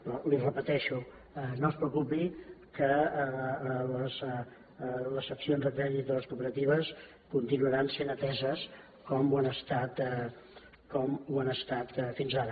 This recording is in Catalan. però li ho repeteixo no es preocupi que les seccions de crèdit de les cooperatives continuaran sent ateses com ho han estat fins ara